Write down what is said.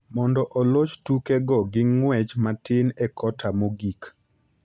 mondo oloch tukego gi ng’wech matin e kota mogik.